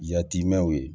Yatimɛw ye